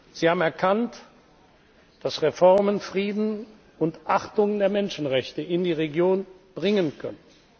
Sie haben erkannt, dass Reformen Frieden und Achtung der Menschenrechte in die Region bringen können.